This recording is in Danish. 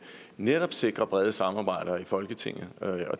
netop sikrer brede samarbejder i folketinget